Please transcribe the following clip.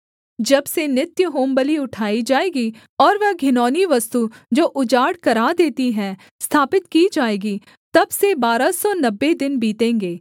जब से नित्य होमबलि उठाई जाएगी और वह घिनौनी वस्तु जो उजाड़ करा देती है स्थापित की जाएगी तब से बारह सौ नब्बे दिन बीतेंगे